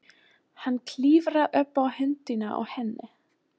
Hann klifrar upp á höndina á henni.